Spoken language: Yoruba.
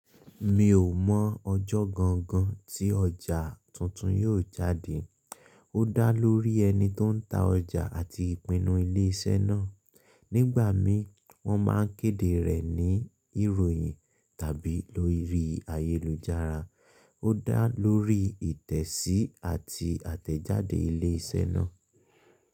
Mi ò mọ̀ ọjọ́ gangan tí ọjà tuntun yóò jáde. Ó dá lórí ẹni tó ń ta ọjà àti ìpinnu ilé-iṣẹ́ náà. Nígbà míi wọ́n máa ń kéde rẹ̀ ní ìròyìn tàbí lórí ayélujára. Ó dá lórí ìtẹ̀sí àti àtẹ̀jáde ilé-iṣẹ́ náà.